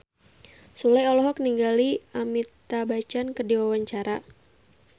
Sule olohok ningali Amitabh Bachchan keur diwawancara